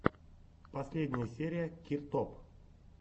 последняя серия киртоп